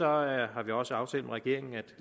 har vi også aftalt med regeringen at